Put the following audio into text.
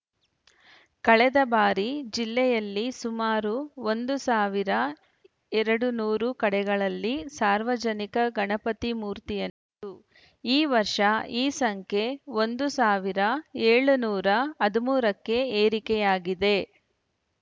ಕಳೆದ ಬಾರಿ ಜಿಲ್ಲೆಯಲ್ಲಿ ಸುಮಾರು ಒಂದು ಸಾವಿರಎರಡುನೂರು ಕಡೆಗಳಲ್ಲಿ ಸಾರ್ವಜನಿಕ ಗಣಪತಿ ಮೂರ್ತಿಯನ್ನು ಪ್ರತಿಷ್ಠಾಪಿಸಲಾಗಿತ್ತು ಈ ವರ್ಷ ಈ ಸಂಖ್ಯೆ ಒಂದು ಸಾವಿರದ ಏಳುನೂರ ಹದಿಮೂರ ಕ್ಕೆ ಏರಿಕೆಯಾಗಿದೆ